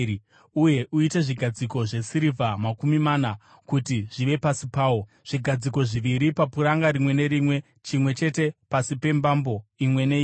uye uite zvigadziko zvesirivha makumi mana kuti zvive pasi pawo, zvigadziko zviviri papuranga rimwe nerimwe, chimwe chete pasi pembambo imwe neimwe.